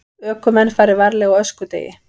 Ökumenn fari varlega á öskudegi